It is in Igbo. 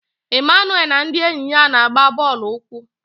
Emmanuel na ndị enyi ya na-agba bọọlụ ụkwụ.